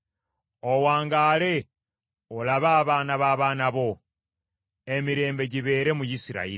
Owangaale olabe abaana b’abaana bo! Emirembe gibeere mu Isirayiri.